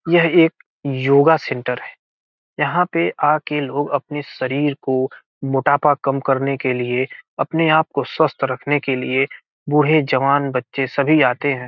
यह एक योगा सेंटर है यहाँ पे लोग आ के अपने शरीर को मोटापा काम करने के लिए अपने आप को स्वस्थ रखने के लिए बूढ़े जवान बच्चे सभी आते हैं।